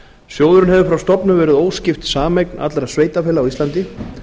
sjóðurinn hefur frá stofnun verið óskipt sameign allra sveitarfélaga á íslandi